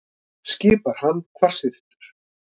skipar hann hvassyrtur.